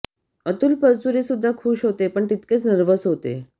अतुल परचुरे सुद्धा खुश होते पण तितकेच नर्व्हस होते